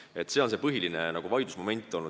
See on olnud see põhiline vaidlusmoment.